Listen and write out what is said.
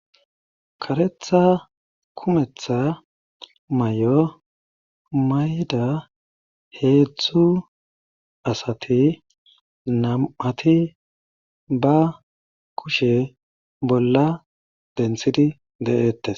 Karetha kumetha mayo mayida heedzdzu asati nam7ati ba kushe dinthidi de7eettees.